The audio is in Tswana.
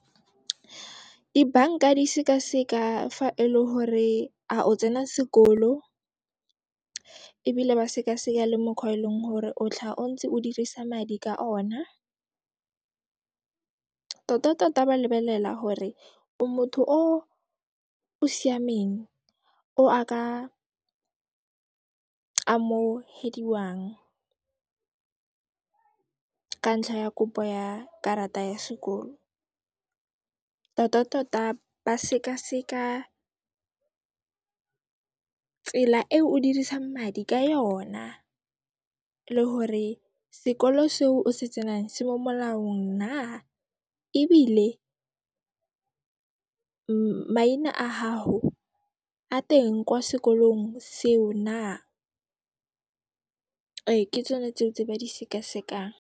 Dibanka di sekaseka fa e le hore a o tsena sekolo ebile ba sekaseka le mokgwa o e leng hore o tlaha o ntse o dirisa madi ka ona. Tota tota ba lebelela hore o motho o o siameng, o a ka amohediwang ka ntlha ya kopo ya karata ya sekolo. Tota tota ba sekaseka tsela e o dirisang madi ka yona le hore sekolo seo o se tsenang, se mo molaong na, ebile maina a haho a teng kwa sekolong seo na. Ee, ke tsone tseo tse ba di sekasekang.